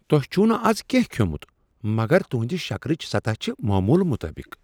تۄہہ چھٗوٕ نہٕ از کینٛہہ كھیومٗت مگر تہنٛد شکرٕچ سطح چھ معمولہٕ مطابق ۔